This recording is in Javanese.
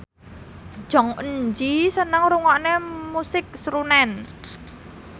Jong Eun Ji seneng ngrungokne musik srunen